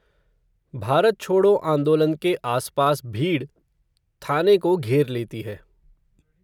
भारत छोडो आन्दोलन के आसपास भीड़, थाने को घेर लेती है